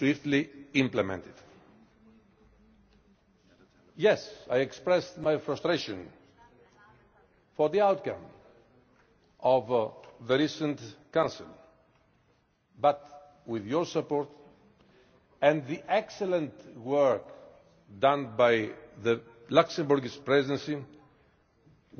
Yes, I expressed my frustration at the outcome of the recent Council but, with your support and the excellent work done by the Luxembourg Presidency, we will all go this extra mile